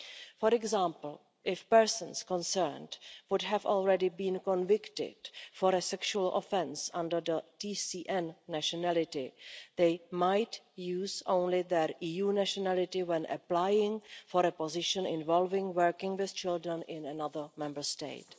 For example, if the persons concerned had already been convicted for a sexual offence under their TCN nationality, they might use only their EU nationality when applying for a position involving working with children in another Member State.